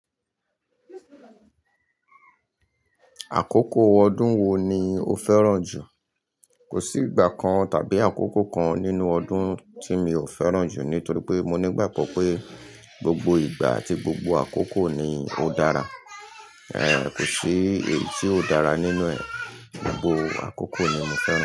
Àkókò ọdún wo ni o fẹ́ràn jù? Kò sí ìgbà kan tàbí àkókò kan nínú ọdún tí mi ò fẹ́ràn jù nítorí pé mo nígbàgbo pé gbogbo ìgbà àti gbogbo àkókò ni ó dára. Ẹ̀ẹ̀, kò sí èyí tí ò dára nínú ẹ̀, gbogbo àkókò ni mo fẹ́ràn.